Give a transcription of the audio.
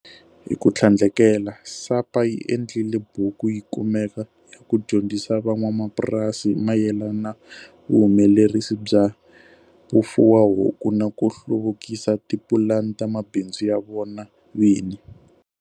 Hi ku tlhandlekela, SAPA yi endlile buku yi kumeka ya ku dyondzisa van'wamapurasi hi mayelana vuhumelerisi bya vufuwahuku na ku hluvukisa tipulani ta mabindzu ya vona vini.